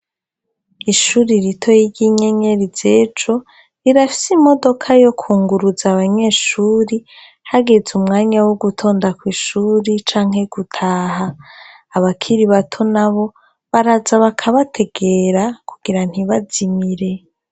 Ishuri ritoye ry'inyenyeri z'ejo, rirafitse imodoka yo kunguruza abanyeshure hageze umwanya wo gutonda kw'ishure canke gutaha, abakiri bato nabo baraza bakabategera kugira ntibazimire.